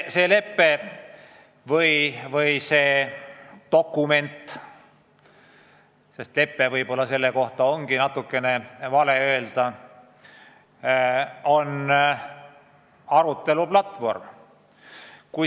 "Lepe" võib-olla ongi natukene vale selle kohta öelda, tegu on arutelu platvormiga.